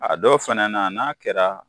A dɔw fɛnɛ na n'a kɛra